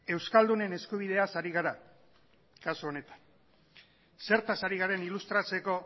euskaldunen eskubideaz ari gara kasu honetan zertaz ari garen ilustratzeko